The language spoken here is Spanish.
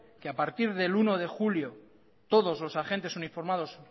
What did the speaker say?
que a partir del uno de julio todos los agentes uniformados